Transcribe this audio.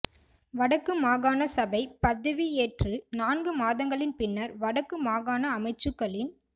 வடக்கு மாகாண சபை பதவியேற்று நான்கு மாதங்களின் பின்னர் வடக்கு மாகாண அமைச்சுக்களின்